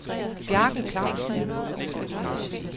Bjarke Clausen